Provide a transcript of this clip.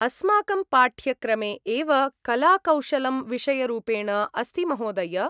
अस्माकं पाठ्यक्रमे एव कलाकौशलं विषयरूपेण अस्ति महोदय!